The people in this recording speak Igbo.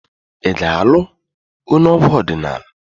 Ị ga-alụ onye egwu ọdịnala?